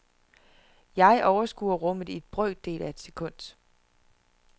Jeg overskuer rummet i brøkdele af et sekund.